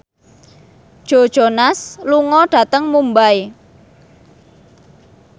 Joe Jonas lunga dhateng Mumbai